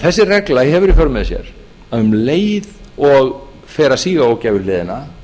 þessi regla hefur því í för með sér að um leið og fer að síga á ógæfuhliðina